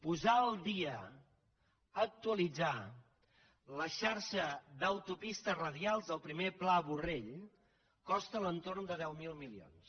posar al dia actualitzar la xarxa d’autopistes radials del primer pla borrell costa a l’entorn de deu mil milions